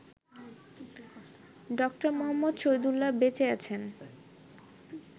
ড. মুহম্মদ শহীদুল্লাহ্ বেঁচে আছেন